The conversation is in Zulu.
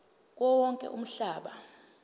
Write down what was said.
kuwo wonke umhlaba